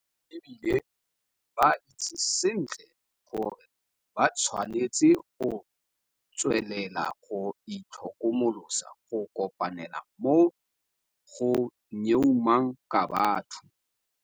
E bile ba itse sentle gore ba tshwanetse go tswelela go itlhokomolosa go kopanela mo go nyeumang ka batho.